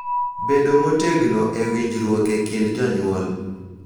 Bedo motegno e winjruok e kind jonyuol